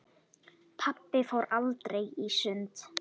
Pabbi fór aldrei í sund.